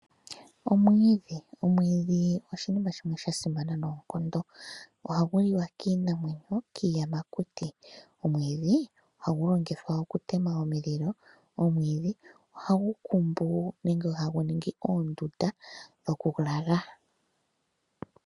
Omwiidhi, omwiidhi oshinima shimwe sha simana noonkondo. Ohagu liwa kiinamwenyo, kiiyamakuti. Omwiidhi ohagu longithwa okutema omulilo. Omwiidhi ohagu kumbu nenge hagu ningi oondunda dhokulala.